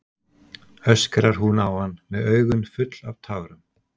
öskrar hún á hann með augun full af tárum.